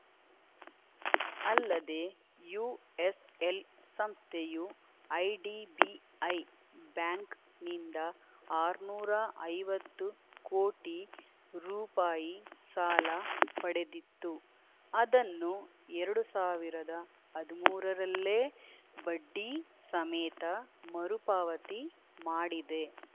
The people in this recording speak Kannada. ಅಲ್ಲದೆ ಯುಎಸ್‌ಎಲ್‌ ಸಂಸ್ಥೆಯು ಐಡಿಬಿಐ ಬ್ಯಾಂಕ್‌ನಿಂದ ಆರುನೂರ ಐವತ್ತು ಕೋಟಿ ರು ಸಾಲ ಪಡೆದಿತ್ತು ಅದನ್ನು ಎರಡು ಸಾವಿರದ ಹದಿಮೂರರಲ್ಲೇ ಬಡ್ಡಿ ಸಮೇತ ಮರುಪಾವತಿ ಮಾಡಿದೆ